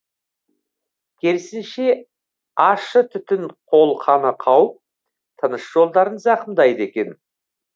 керісінше ащы түтін қолқаны қауып тыныс жолдарын зақымдайды екен